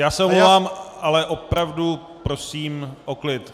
Já se omlouvám, ale opravdu prosím o klid.